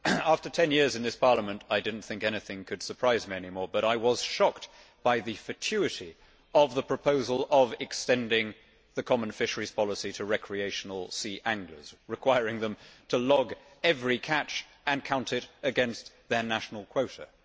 Mr President, after 10 years in this Parliament I did not think anything could surprise me any more, but I was shocked by the fatuity of the proposal of extending the common fisheries policy to recreational sea anglers, requiring them to log every catch and count it against their national quota.